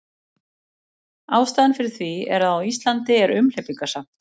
Ástæðan fyrir því er að á Íslandi er umhleypingasamt.